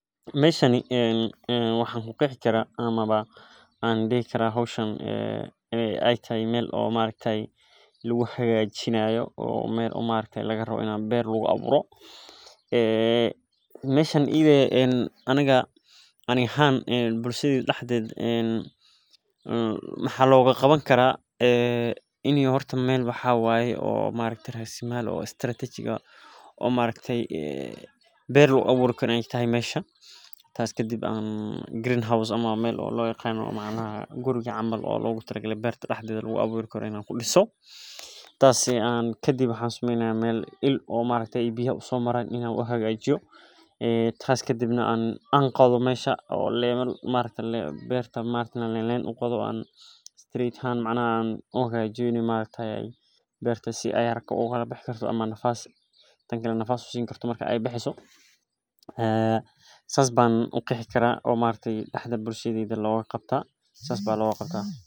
Meeshani ee waxaan u qeexi kara ama ba aan dhigi kara hawshaan ee ayta meel oo ma araktay lagu hagaajiyo oo meel oo maalitay laga raaday inaa beer lagu aburo. Eee, meeshaan idee aanaga anig haan bulshada dhexda ed. Maxaa looga qaban karaa in horta meel wax u waayay oo ma araktay raasli maal ah oo strategy ga oo ma araktay beer lagu abuur karnaa aheyd masha. Taas ka dib green house ama meel loo yaqaano guriga camaal oo loogu tiro la beerta dhexda dad lagu abuur karnaa ku dhisoo. Taasi aan ka dib waxa suuminaya meel eel ma araktay biyo u soo maran in aan u hagaajiyo. Ee taas ka dibna aan anqodo meysha oo la leen ma araktay beerta ma araktay la leen u qodo street haan macana aan o haga jirka ma araktay beerta si ay aragta ugu bax karto ama nafaas. Taankii nafaas u siin karto markay ay baxiso. Eee sasaabaan u qeexi karaa oo ma araktay dhexda bulshada looga qabta sasaabaan loo qabta.